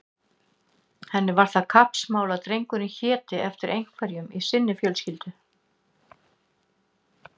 Henni var það kappsmál að drengurinn héti eftir einhverjum í sinni fjölskyldu.